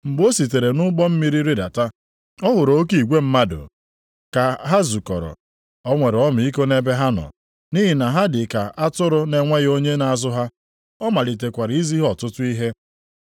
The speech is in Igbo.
Mgbe o sitere nʼụgbọ mmiri rịdata, ọ hụrụ oke igwe mmadụ a ka ha zukọrọ. O nwere ọmịiko nʼebe ha nọ, nʼihi na ha dị ka atụrụ na-enweghị onye na-azụ ha. Ọ malitekwara izi ha ọtụtụ ihe.